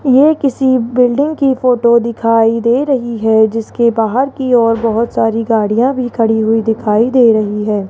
ये किसी बिल्डिंग की फोटो दिखाई दे रही है जिसके बाहर की ओर बहुत सारी गाड़ियां भी खड़ी हुई दिखाई दे रही है।